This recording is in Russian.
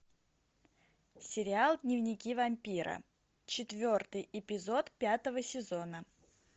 сериал дневники вампира четвертый эпизод пятого сезона